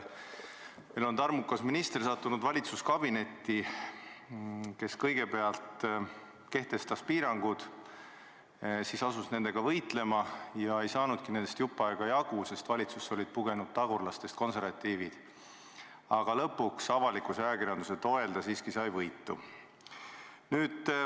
Meil on valitsuskabinetti sattunud tarmukas minister, kes kõigepealt kehtestas piirangud, siis asus nendega võitlema, aga ei saanud nendest jupp aega jagu, sest valitsusse olid pugenud tagurlastest konservatiivid, kuid lõpuks sai ta avalikkuse ja ajakirjanduse toel neist siiski võitu.